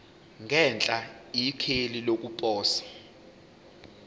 ngenhla ikheli lokuposa